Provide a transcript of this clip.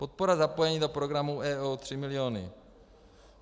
Podpora zapojení do programu EO 3 mil.